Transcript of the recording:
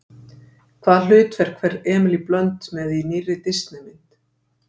Hvaða hlutverk fer Emily Blunt með í nýrri Disney mynd?